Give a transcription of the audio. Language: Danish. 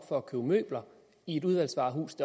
for at købe møbler i et udvalgsvarehus